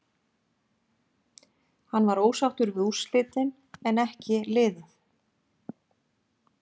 Hann var ósáttur við úrslitin en en ekki liðið.